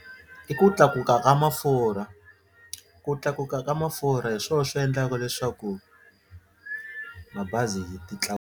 I ku tlakuka ka mafurha ku tlakuka ka mafurha hi swona swi endlaka leswaku mabazi ti .